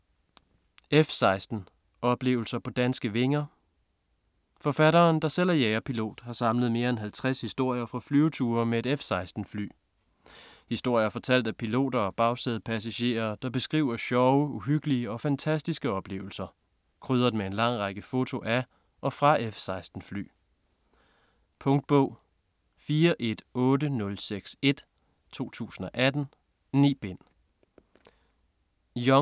F-16 - oplevelser på danske vinger Forfatteren der selv er jagerpilot har samlet mere end 50 historier fra flyture med et F-16 fly. Historier fortalt af piloter og bagsædepassagerer der beskriver sjove, uhyggelige og fantastiske oplevelser. Krydret med en lang række fotos af og fra F-16 fly. Punktbog 418061 2018. 9 bind.